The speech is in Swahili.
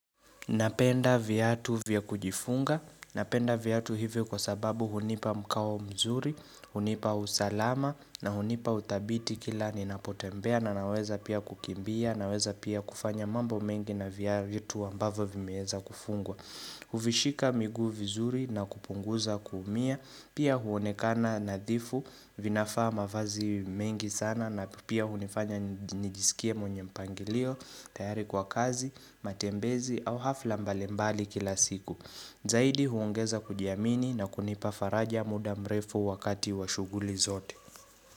Napenda viatu vya kujifunga. Napenda viatu hivyo kwa sababu hunipa mkawo mzuri, hunipa usalama na hunipa uthabiti kila ninapotembea na naweza pia kukimbia naweza pia kufanya mambo mengi na viatu ambavo vimeeza kufungwa. Huvishika miguu vizuri na kupunguza kuumia, pia huonekana nadhifu vinafaa mavazi mengi sana na pia hunifanya nijiskie mwenye mpangilio, tayari kwa kazi, matembezi au hafla mbalimbali kila siku. Zaidi huongeza kujiamini na kunipafaraja muda mrefu wakati wa shughuli zote.